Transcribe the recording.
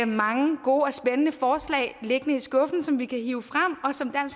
mange gode og spændende forslag liggende i skuffen som vi kan hive frem og som